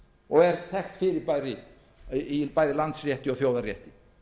og er þekkt fyrirbæri bæði í landsrétti og þjóðarétti